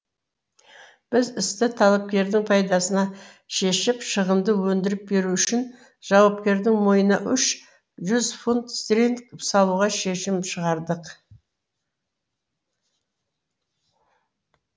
біз істі талапкердің пайдасына шешіп шығынды өндіріп беру үшін жауапкердің мойнына үш жүз фунт стерлинг салуға шешім шығардық